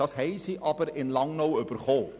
Diese haben sie aber in Langnau erhalten.